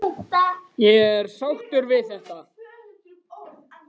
Ertu sáttur við þetta?